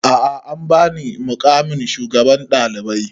A'a an ba ni muƙamin shugaban ɗalibai